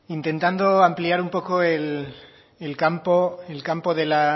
intentando ampliar un poco el campo